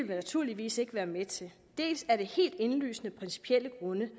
naturligvis ikke være med til dels af helt indlysende principielle grunde